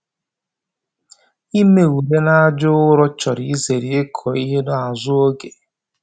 Ime ure n'aja ụrọ chọrọ izere ịkụ ihe n'azụ oge